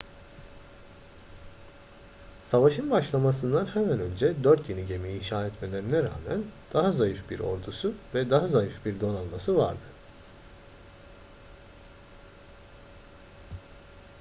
savaşın başlamasından hemen önce dört yeni gemi inşa etmelerine rağmen daha zayıf bir ordusu ve daha zayıf bir donanması vardı